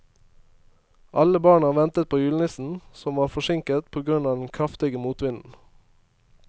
Alle barna ventet på julenissen, som var forsinket på grunn av den kraftige motvinden.